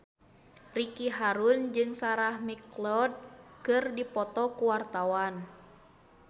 Ricky Harun jeung Sarah McLeod keur dipoto ku wartawan